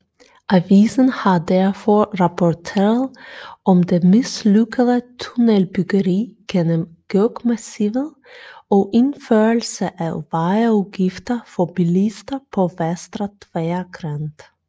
Avisen har derfor rapporteret om det mislykkede tunnelbyggeri gennem Gökmassivet od indførelse af vejafgifter for bilister på Västra Tvärgränd